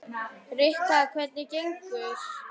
Rikka, hvernig gengur?